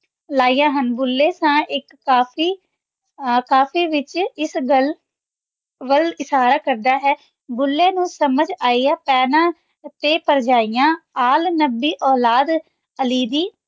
ਗੁਲਾ ਇੱਕ ਕਾਪੀ ਲੈ ਕੇ ਦੱਸਦਾ ਹੈ ਕਿ ਤਿੰਨੇ ਸਮਝ ਗਏ ਹਨ